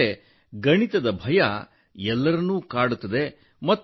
ಏಕೆಂದರೆ ಗಣಿತದ ಭಯ ಎಲ್ಲರನ್ನೂ ಕಾಡುತ್ತದೆ